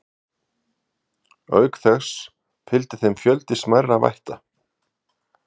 Auk þess fylgdi þeim fjöldi smærri vætta.